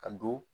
Ka don